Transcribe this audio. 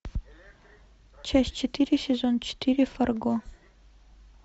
часть четыре сезон четыре фарго